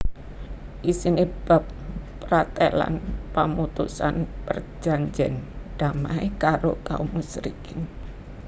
Isiné bab pratélan pamutusan perjanjèn damai karo kaum musyrikin